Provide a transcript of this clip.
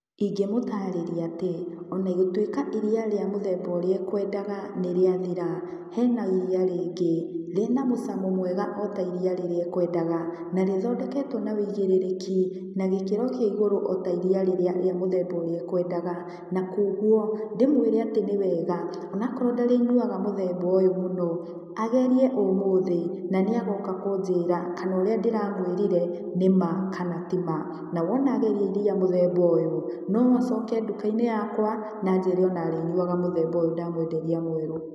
Ingĩmũtaarĩria atĩ, ona gũtuĩka iria rĩa mũthemba ũrĩa ekwendaga nĩ rĩa thira, hena iria rĩngĩ rĩna mũcamo mwega o ta iria rĩrĩa ekwendaga, na rĩthondeketwo na wĩigĩrĩrĩki na gĩikĩro kĩa igũrũ o ta iria rĩrĩa rĩa mũthemba ũrĩa ekwendaga. Na kũoguo, ndĩmwĩre atĩ nĩ wega, o na akorwo ndarĩ nyuaga mũthemba ũyũ mũno, agerie ũmũthĩ, na nĩagoka kũnjĩra kana ũrĩa ndĩra mwĩrire nĩ ma kana ti ma. Na wona ageria iria mũthemba ũyũ, no acoke nduka-inĩ yakwa, na anjĩre o na arĩnyuaga mũthemba ũyũ ndamwenderia mwerũ.